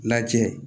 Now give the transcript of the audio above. Lajɛ